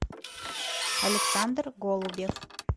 александр голубев